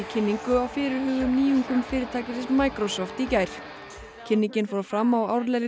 kynningu á fyrirhugðum nýjungum fyrirtækisins Microsoft í gær kynningin fór fram á árlegri